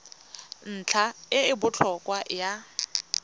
ntlha e e botlhokwa ya